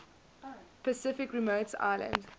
pacific remote islands